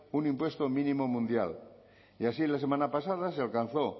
un impuesto mínimo mundial y así la semana pasada se alcanzó